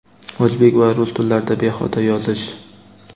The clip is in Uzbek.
o‘zbek va rus tillarida bexato yozish.